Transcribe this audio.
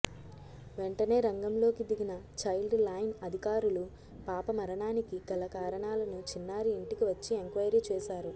వెంటనే రంగంలోకి దిగిన చైల్డ్ లైన్ అధికారులు పాప మరణానికి గల కారణాలను చిన్నారి ఇంటికి వచ్చి ఎంక్వయిరీ చేశారు